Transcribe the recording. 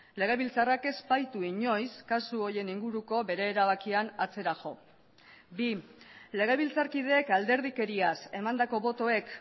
legebiltzarrak ez baitu inoiz kasu horien inguruko bere erabakian atzera jo bi legebiltzarkideek alderdikeriaz emandako botoek